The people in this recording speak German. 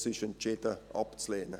Das ist entschieden abzulehnen.